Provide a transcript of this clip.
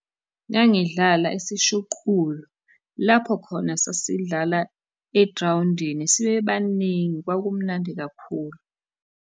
Ngangidlala isishuqulo, lapho khona sasidlala egrawundini sibe baningi, kwakumnandi kakhulu.